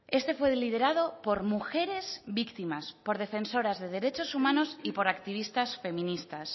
este fue liderado por mujeres víctimas por defensoras de derechos humanos y por activistas feministas